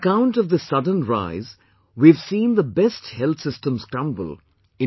On account of this sudden rise, we have seen the best health systems crumble